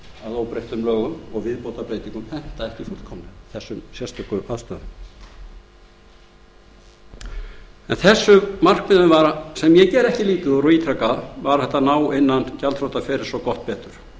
að óbreyttum lögum og viðbótarbreytingum henta ekki fullkomlega þessum sérstöku aðstæðum en þessum markmiðum sem ég geri ekki lítið úr og ítreka það var hægt að ná innan gjaldþrotaferils og gott betur